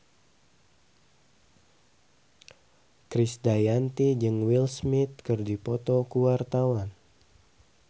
Krisdayanti jeung Will Smith keur dipoto ku wartawan